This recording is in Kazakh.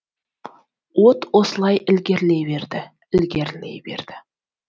от осылай ілгерілей берді ілгерілей берді